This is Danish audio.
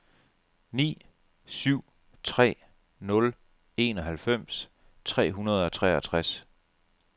ni syv tre nul enoghalvfems tre hundrede og toogtres